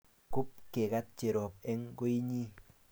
Kop kegat Cherop eng' koinyi